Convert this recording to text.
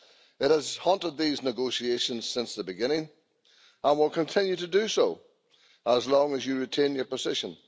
It has haunted these negotiations since the beginning and will continue to do so as long as you retain your position.